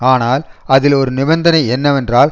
ஆனால் அதில் ஒரு நிபந்தனை என்னவென்றால்